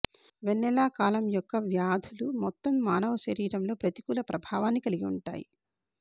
వెన్నెల column యొక్క వ్యాధులు మొత్తం మానవ శరీరంలో ప్రతికూల ప్రభావాన్ని కలిగి ఉంటాయి